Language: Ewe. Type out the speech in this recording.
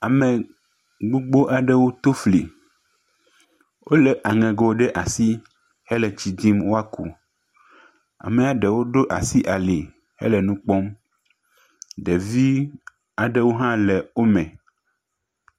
Ame gbogbo aɖewo to fli. Wole aŋego ɖe asi ele tsi dzim woaku. Amea ɖewo ɖo asi ali ele nu kpɔm. Ɖevi aɖewo hã le wo me.